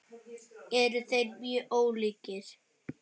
Eru þeir mjög ólíkir?